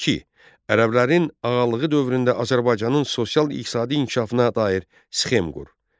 İki, Ərəblərin ağalığı dövründə Azərbaycanın sosial-iqtisadi inkişafına dair sxem qur.